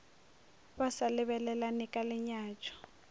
ba sa lebelelane ka lenyatšo